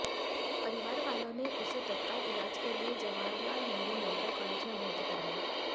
परिवार वालों ने उसे तत्काल इलाज के लिए जवाहरलाल नेहरू मेडिकल कॉलेज में भर्ती कराया